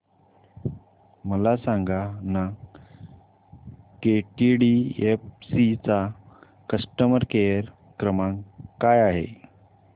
मला सांगाना केटीडीएफसी चा कस्टमर केअर क्रमांक काय आहे